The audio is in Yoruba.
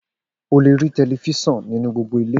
O le rí telifísàn nínú gbogbo ilé